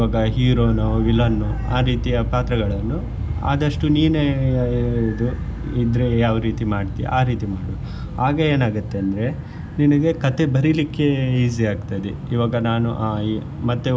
ಇವಾಗ hero ನೋ villian ನೋ ಆ ರೀತಿಯ ಪಾತ್ರಗಳನ್ನು ಆದಷ್ಟು ನೀನೆ ಇದು ಇದ್ರೆ ಯಾವ್ ರೀತಿ ಮಾಡ್ತಿಯಾ ಆ ರೀತಿ ಮಾಡು ಆಗ ಏನ್ ಆಗುತ್ತೆ ಅಂದ್ರೆ ನಿನಿಗೆ ಕಥೆ ಬರಿಲಿಕ್ಕೆ easy ಆಗ್ತದೆ ಇವಾಗ ನಾನು ಆ ಈ ಮತ್ತೆ.